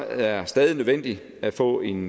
er stadig nødvendigt at få en